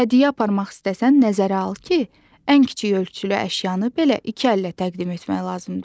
Hədiyyə aparmaq istəsən nəzərə al ki, ən kiçik ölçülü əşyanı belə iki əllə təqdim etmək lazımdır.